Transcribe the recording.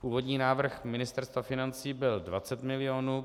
Původní návrh Ministerstva financí byl 20 milionů.